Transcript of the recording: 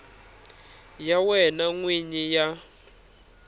ya wena n wini ya